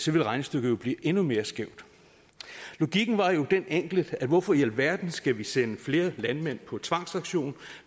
ville regnestykket jo blive endnu mere skævt logikken var jo den enkle at hvorfor i alverden skal vi sende flere landmænd på tvangsauktion